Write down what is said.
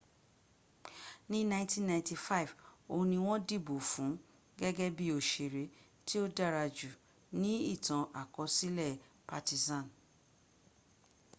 ní 1995 oun ni wọn dìbò fun gégé bi òsèré tí o dárajù nií ìtàn-àkọsílè partizan